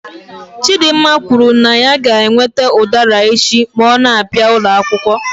Chidimma kwuru na ya ga-ewete udara echi ma ọ na-abịa ụlọ akwụkwọ.